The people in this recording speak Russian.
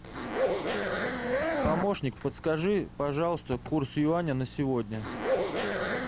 помощник подскажи пожалуйста курс юаня на сегодня